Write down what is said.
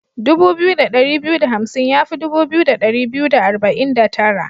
Dubu biyu da dari biyu da hamsin ya fi dubu biyu da dari biyu da arba'in da tara.